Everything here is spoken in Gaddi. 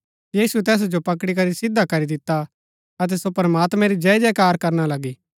यीशुऐ तैसा जो पकड़ी करी सिधा करी दिता अतै सो प्रमात्मैं री जय जयकार करना लगी